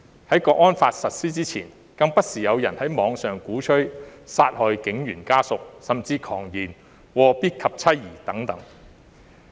在《香港國安法》實施之前，更不時有人在網上鼓吹殺害警員家屬，甚至狂言"禍必及妻兒"等。